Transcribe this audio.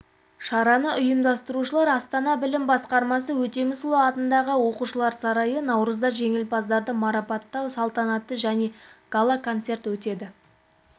шараны ұйымдастырушылар астана білім басқармасы өтемісұлы атындағы оқушылар сарайы наурызда жеңімпаздарды марапаттау салтанаты және гала-концерт өтеді